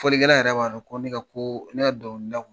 Folikɛlan yɛrɛ b'a dɔn, ko ne ka ko, ne ye dɔnkili da